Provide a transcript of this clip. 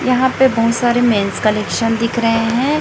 यहां पे बहुत सारे मेंस कलेक्शन दिख रहे हैं।